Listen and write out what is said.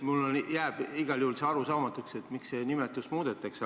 Mulle jääb igal juhul arusaamatuks, miks seda nimetust muudetakse.